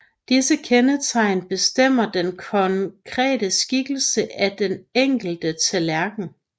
Disse kendetegn bestemmer den konkrete skikkelse af den enkelte tallerken